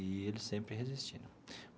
E ele sempre resistindo.